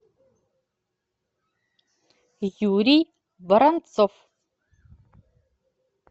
юрий воронцов